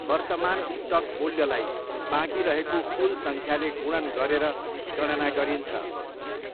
वर्तमान स्टक मूल्यलाई बाँकी रहेको कुल सङ्ख्याले गुणन गरेर गणना गरिन्छ।